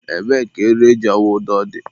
ebee ka eriri e ji awụ ụdọ dị?